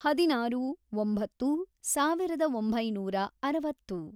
ಹದಿನಾರು, ಒಂಬತ್ತು, ಸಾವಿರದ ಒಂಬೈನೂರ ಅರವತ್ತು